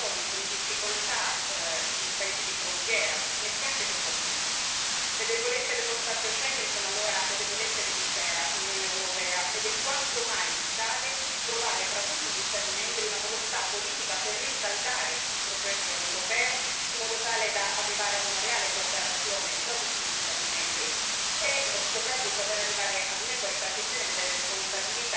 Le debolezze dello spazio Schengen sono allora le debolezze dell'intera Unione europea ed è quanto mai vitale trovare tra tutti gli Stati membri una volontà politica per rinsaldare il progetto europeo, in modo tale da arrivare ad una reale cooperazione tra tutti gli Stati membri e soprattutto per arrivare ad un'equa ripartizione delle responsabilità, tutelando la libertà dei cittadini, da un lato, la sicurezza, dall'altro, e non